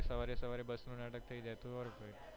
સવારે સવારે બસ નું નાટક થઇ રેહતું ઓર ભાઈ